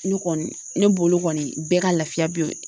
Ne kɔni ne bolo kɔni bɛɛ ka lafiya be